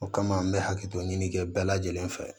O kama an bɛ hakɛto ɲinikɛ bɛɛ lajɛlen fɛ